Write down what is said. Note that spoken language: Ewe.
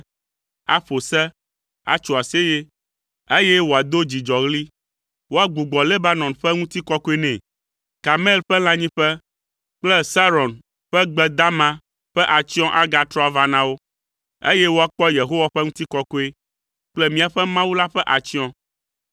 aƒo se, atso aseye, eye wòado dzidzɔɣli. Woagbugbɔ Lebanon ƒe ŋutikɔkɔe nɛ, Karmel ƒe lãnyiƒe kple Saron ƒe gbe dama ƒe atsyɔ̃ agatrɔ ava na wo, eye woakpɔ Yehowa ƒe ŋutikɔkɔe kple míaƒe Mawu la ƒe atsyɔ̃.